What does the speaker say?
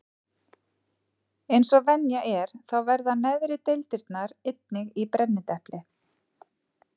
Eins og venja er þá verða neðri deildirnar einnig í brennidepli.